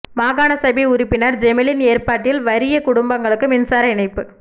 மாகாண சபை உறுப்பினர் ஜெமீலின் ஏற்பாட்டில் வறிய குடும்பங்களுக்கு மின்சார இணைப்பு